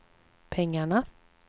pengarna